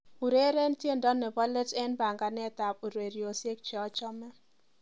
ureren tiendo nebo leet en panganet ab ureryosyek cheochome